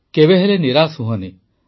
କେବେ ହେଲେ ନିରାଶ ହୁଅନି